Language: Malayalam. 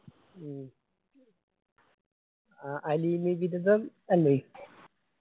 ഉം അല്ലെ